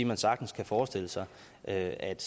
man sagtens kan forestille sig at at